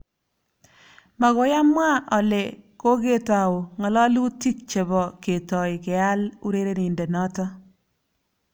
Magoiamwa ale koketou ng'alalutik chebo ketoi keal urerenindenoto